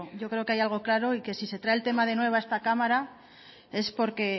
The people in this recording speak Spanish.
yo creo que hay algo claro y que si se trae el tema de nuevo a esta cámara es porque